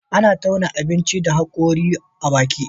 Ana tauna abinki da hagori a baki